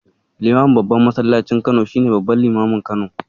Limamin Babban masallacin Kano shi ne babban limamin Kano.